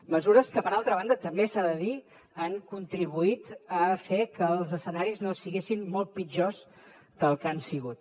mesures que per altra banda també s’ha de dir han contribuït a fer que els escenaris no fossin molt pitjors del que han sigut